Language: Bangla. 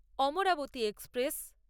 অমরাবতী এক্সপ্রেস